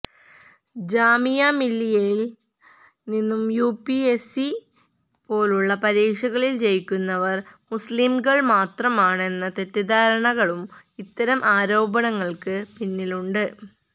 ജാമിഅ മില്ലിയയില് നിന്ന് യുപിഎസ്സി പോലുള്ള പരീക്ഷകളില് ജയിക്കുന്നവര് മുസ്ലിംകള് മാത്രമാണെന്ന തെറ്റിദ്ധാരണകകളും ഇത്തരം ആരോപണങ്ങള്ക്കു പിന്നിലുണ്ട്